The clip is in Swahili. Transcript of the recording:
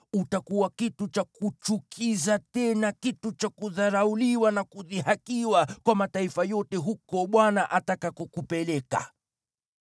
Utakuwa kitu cha kuchukiza, tena kitu cha kudharauliwa na kudhihakiwa kwa mataifa yote huko Bwana atakakokupeleka.